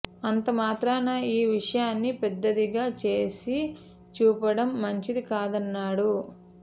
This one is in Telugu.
అంత మాత్రాన ఈ విషయాన్ని పెద్దదిగా చేసి చూపిం చడం మంచిది కాదన్నాడు